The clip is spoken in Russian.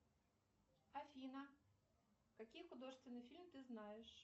афина какие художественные фильмы ты знаешь